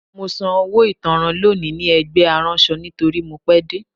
Mo san owó ìtanràn lónìí ní ẹgbẹ́ aránṣọ nítorí mo pẹ́ dé